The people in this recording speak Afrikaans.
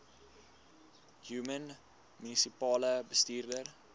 human munisipale bestuurder